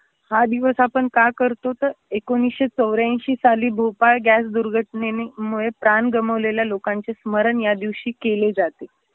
हा दिवस आपण का करतो तर एकुणीसशे चौऱ्यांशी साली भुपाळ गॅस दुर्घटनेने मुळे प्राण गमावलेल्या लोकांचे स्मरण यादिवशी केले जाते.